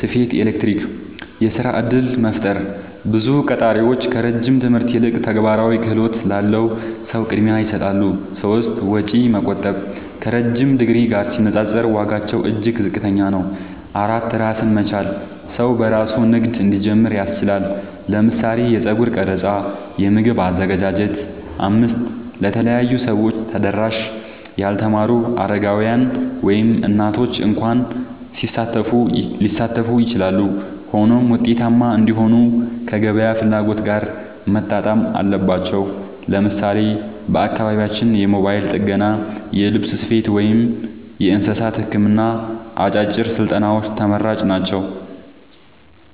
ስፌት፣ ኤሌክትሪክ)። 2. የሥራ እድል መፍጠር – ብዙ ቀጣሪዎች ከረጅም ትምህርት ይልቅ ተግባራዊ ክህሎት ላለው ሰው ቅድሚያ ይሰጣሉ። 3. ወጪ መቆጠብ – ከረዥም ዲግሪ ጋር ሲነጻጸር ዋጋቸው እጅግ ዝቅተኛ ነው። 4. ራስን መቻል – ሰው በራሱ ንግድ እንዲጀምር ያስችላል (ለምሳሌ የጸጉር ቀረጻ፣ የምግብ አዘገጃጀት)። 5. ለተለያዩ ሰዎች ተደራሽ – ያልተማሩ፣ አረጋውያን፣ ወይም እናቶች እንኳ ሊሳተፉ ይችላሉ። ሆኖም ውጤታማ እንዲሆኑ ከገበያ ፍላጎት ጋር መጣጣም አለባቸው። ለምሳሌ በአካባቢያችን የሞባይል ጥገና፣ የልብስ ስፌት፣ ወይም የእንስሳት ሕክምና አጫጭር ስልጠናዎች ተመራጭ ናቸው።